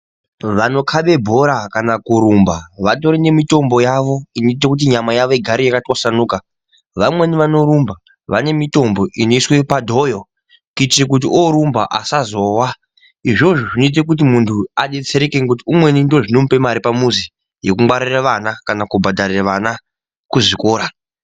Vanokaba bhora kana kurumba kutori nemitombo yawo inoita munyama yawo igare yakatwasanuka vamweni vane mitombo inoiswa padhoyo nechekuti vorumba asazowa inozoita muntu adetsereke umweni ndizvo zvinomuoa pamuzivi kuvapa vana kana kubhadharira vana pazvikora.